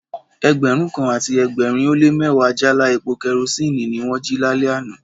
Ẹgbẹ̀rún kan àti ẹgbẹ̀rin ó lé mẹ́wàá jáálá epo kerosinni ni wón jí lálẹ́ àná.